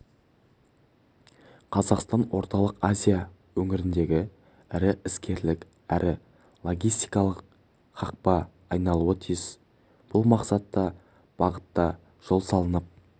қазақстан орталық азия өңіріндегі ірі іскерлік әрі логистакалық хабқа айналуы тиіс бұл мақсатта бағытта жол салынып